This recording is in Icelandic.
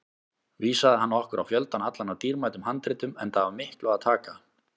Vísaði hann okkur á fjöldann allan af dýrmætum handritum, enda af miklu að taka.